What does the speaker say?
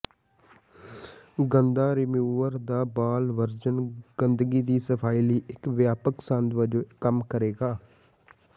ਗੰਦਾ ਰੀਮੂਵਰ ਦਾ ball version ਗੰਦਗੀ ਦੀ ਸਫ਼ਾਈ ਲਈ ਇਕ ਵਿਆਪਕ ਸੰਦ ਵਜੋਂ ਕੰਮ ਕਰੇਗਾ